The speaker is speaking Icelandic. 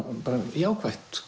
jákvætt